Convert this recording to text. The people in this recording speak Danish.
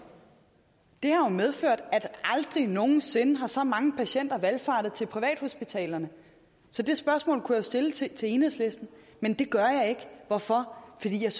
har jo medført at der aldrig nogen sinde har valfartet så mange patienter til privathospitalerne så det spørgsmål kunne jeg jo stille til til enhedslisten men det gør jeg ikke hvorfor fordi jeg